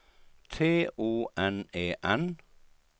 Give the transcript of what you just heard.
T O N E N